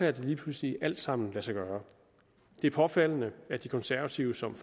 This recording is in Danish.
at det lige pludselig alt sammen kan lade sig gøre det er påfaldende at de konservative som